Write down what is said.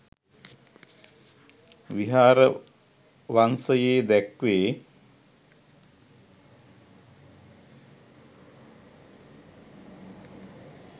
විහාර වංශයේ දැක්වේ.